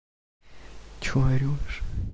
что орешь